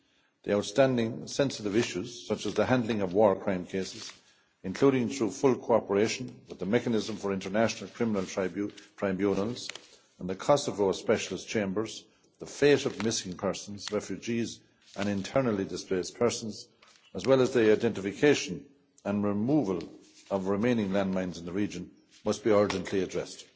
The outstanding sensitive issues, such as the handling of war crime cases, including through full cooperation with the Mechanism for International Criminal Tribunals and the Kosovo Specialist Chambers, and the fate of missing persons, refugees and internally displaced persons, as well as the identification and removal of remaining landmines in the region, must be urgently addressed.